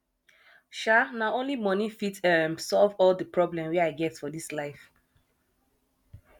um na only moni fit um solve all di problem wey i get for dis life